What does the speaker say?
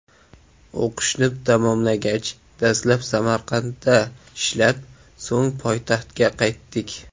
O‘qishni tamomlagach, dastlab Samarqandda ishlab, so‘ng poytaxtga qaytdik.